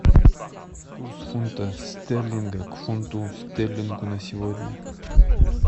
курс фунта стерлинга к фунту стерлингу на сегодня